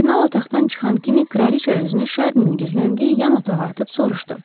Kardinal otaqdan çıxan kimi kraliçə özünü Şarninin gizləndiyi yan otağa atıb soruşdu: